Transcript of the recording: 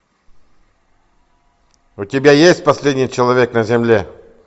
у тебя есть последний человек на земле